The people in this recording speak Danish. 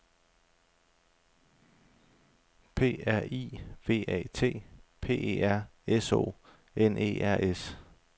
P R I V A T P E R S O N E R S